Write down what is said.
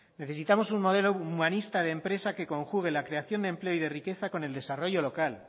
necesitamos un modelo humanista de empresa que conjugue la creación de empleo y de riqueza con el desarrollo local